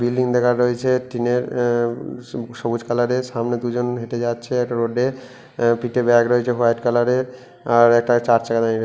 building দেখা জাইছে টিনের এএএ সবুজ কালারের সামনে দুজন হেঁটে যাচ্ছে একটা রোডে এএ পিঠে ব্যাগ রয়েছে হোয়াইট কালারের আর একটা চার চাকা দাঁড়িয়ে রয়ে--